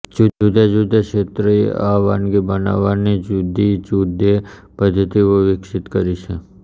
જુદા જુદા ક્ષેત્રોએ આ વાનગી બનાવવાની જુદી જુદે પદ્ધતિઓ વિકસીત કરી છે